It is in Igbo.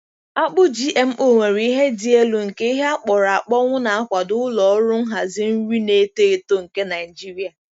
Akpu GMO nwere ihe dị elu nke ihe akpọrọ akpọnwụ na-akwado ụlọ ọrụ nhazi nri na-eto eto nke Nigeria.